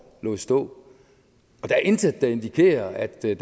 lod stå der er intet der indikerer at der